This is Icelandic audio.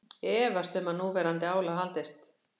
Efast um að núverandi álag haldist